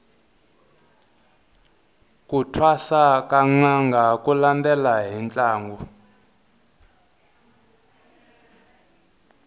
ku thwasa ka nanga ku landela hi ntlangu